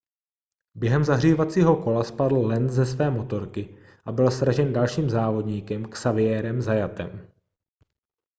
během zahřívacího kola spadl lenz ze své motorky a byl sražen dalším závodníkem xavierem zayatem